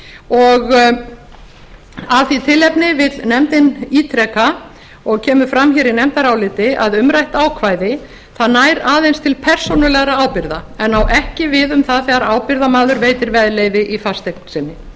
og að því tilefni vill nefndin ítreka og kemur fram hér í nefndaráliti að umrætt ákvæði nær aðeins til persónulegrar ábyrgðar en á ekki við um það þegar ábyrgðarmaður veitir veðleyfi í fasteign sinni